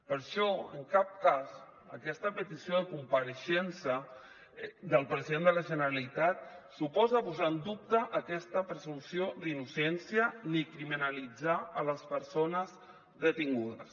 per això en cap cas aquesta petició de compareixença del president de la generalitat suposa posar en dubte aquesta presumpció d’innocència ni criminalitzar les persones detingudes